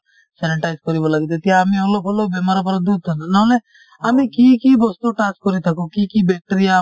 sanitize কৰিব লাগে তেতিয়া আমি অলপ হলেও বেমাৰৰ পৰা দূৰত থাকিম নহলে আমি কি কি বস্তু touch কৰি থাকো কি কি bacteria আমাৰ